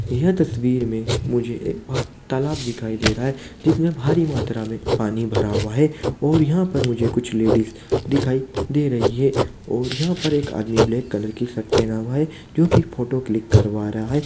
यह तस्वीर में मुझे एक वहाँ तालाब दिखाई दे रहा है जिसमें भारी मात्रा में पानी भरा हुआ है और यहाँ पर मुझे कुछ लेडिस दिखाई दे रही हैं और यहाँ पर एक आदमी ब्लैक कलर की शर्ट पेहना हुआ है जो की फोटो क्लिक करवा रहा है।